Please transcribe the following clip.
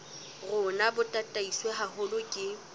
rona bo tataiswe haholo ke